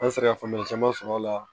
An bɛ se ka faamuya caman sɔrɔ a la